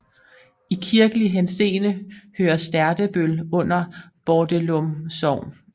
I kirkelig henseende hører Sterdebøl under Bordelum Sogn